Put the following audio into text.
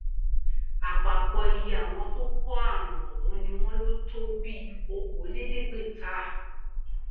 àpapọ iye àwọn tó kó àrùn ọhún ni wọn lò tó bíi okòóléèédégbèta